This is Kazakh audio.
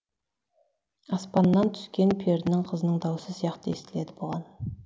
аспанна түскен перінің қызының дауысы сияқты естіледі бұған